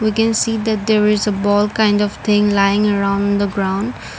we can see that there is a ball kind of thing lying around the ground.